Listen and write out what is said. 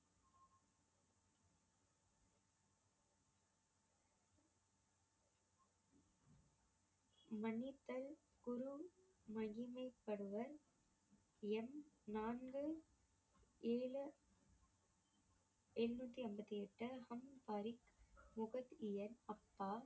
மன்னித்தல் குரு மகிமைப்படுவர் எண் நான்கு ஏழு~ எழுநூத்தி ஐம்பத்தி எட்டு